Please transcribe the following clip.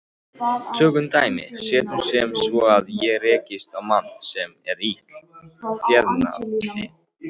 Tökum dæmi: Setjum sem svo að ég rekist á mann sem er illa þefjandi.